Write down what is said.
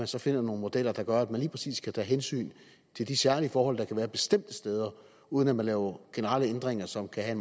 så finder nogle modeller der gør at man lige præcis skal tage hensyn til de særlige forhold der kan være bestemte steder uden at man laver generelle ændringer som kan have